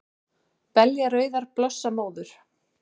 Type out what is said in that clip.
Belja rauðar blossa móður,